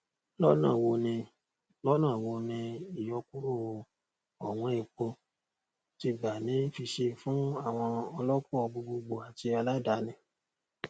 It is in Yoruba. lọnà wo ni lọnà wo ni ìyọkúrò ọwọn epo ti gbà ní fiṣe fún àwọn ọlọkọ gbogbogbò àti aláàdáni